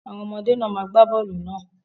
Àwọn ọmọdé náà má gba bọ́ọlù náà.